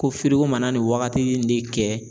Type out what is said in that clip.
Ko firiko mana nin waagati de kɛ